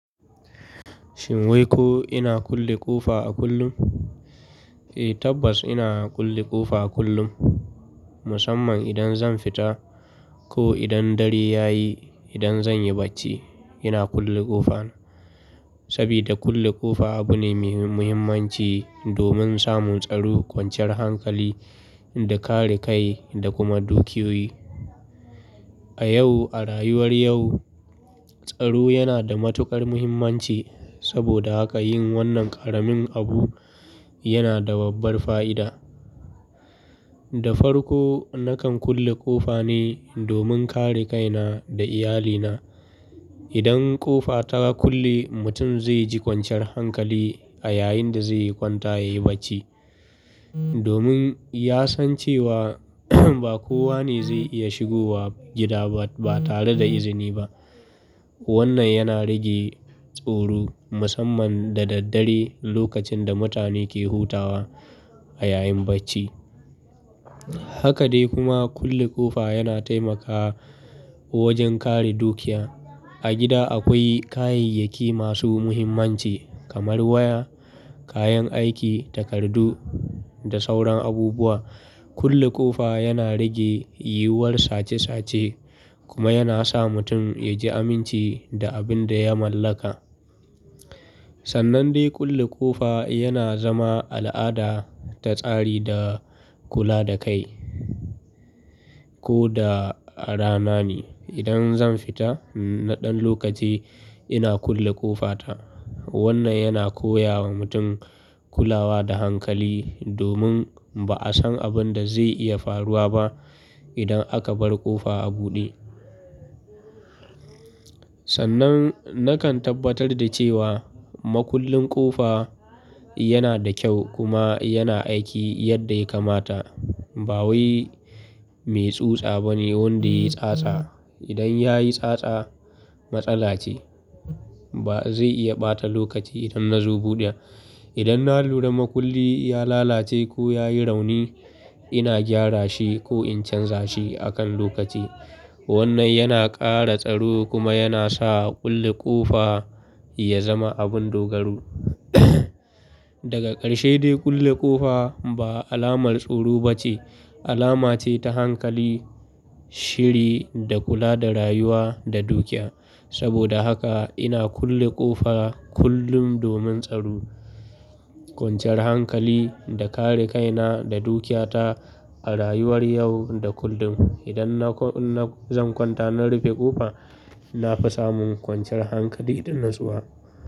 Shin wai ko ina kulle ƙofa a kullum? Eh, tabbas ina kulle ƙofa a kullum. Musamman idan zan fita ko idan dare ya yi, idan zan yi bacci, ina kulle ƙofa. Saboda kulle ƙofa abu ne mai muhimmanci domin samun tsaro, kwanciyar hankali da kare kai da kuma dukiyoyi. A yau, a rayuwar yau, tsaro yana da matuƙar muhimmanci. Saboda haka yin wannan ƙaramin abu yana da babbar fa'ida. Da farko, nakan kulle ƙofa ne domin kare kaina da iyalina. Idan ƙofa ta kulle, mutum zai ji kwanciyar hankali a yayin da zai yi kwanta ya yi bacci. Domin ya san cewa ba kowa ne zai iya shigo wa gida ba tare da izini ba. Wannan yana rage tsoro musamman da daddare lokacin da mutane ke hutawa a yayin bacci. Haka dai kuma kulle ƙofa yana taimakawa wajen kare dukiya. A gida akwai kayayyaki masu muhimmanci kamar waya, kayan aiki, takardu da sauran abubuwa. Kulle ƙofa yana rage yiwuwar sace sace kuma yana sa mutum ya ji aminci da abin da ya mallaka. Sannan dai kulle ƙofa yana zama al'ada ta tsari da kula da kai. Ko da a rana ne, idan zan fita na ɗan lokaci ina kulle ƙofa ta. Wannan yana koya wa mutum kulawa da hankali domin ba a san abin da zai iya faruwa ba idan aka bar ƙofa a buɗe. Sannan nakan tabbatar da cewa makullin ƙofa yana da kyau kuma yana aiki yadda ya kamata. Ba wai mai tsutsa ba ne wanda ya yi tsatsa. Idan ya yi tsatsa matsala ce. Ba zai iya ɓata lokaci idan na zo buɗe. Idan na lura makulli ya lalace ko ya yi rauni, ina gyara shi ko in canza shi akan lokaci. Wannan yana ƙara tsaro kuma yana sa kulle ƙofa ya zama abun dogaro. Daga ƙarshe dai kulle ƙofa ba alamar tsoro ba ce, alama ce ta hankali, shiri da kula da rayuwa da dukiya. Saboda haka ina kulle ƙofa kullum domin tsaro, kwanciyar hankali da kare kaina da dukiyata a rayuwar yau da kullum. Idan na, na zan kwanta na rufe ƙofa, na fi samun kwanciyar hankali idan natsuwa.